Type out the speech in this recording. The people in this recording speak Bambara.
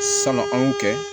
Sanu an y'o kɛ